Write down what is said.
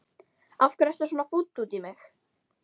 Af hverju ertu svona fúll út í mig?